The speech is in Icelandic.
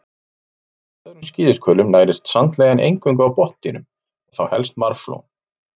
Ólíkt öðrum skíðishvölum nærist sandlægjan eingöngu á botndýrum, þá helst marflóm.